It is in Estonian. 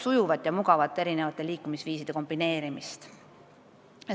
Sujuva ja mugava liikumisviiside kombineerimise järele on vajadus olemas.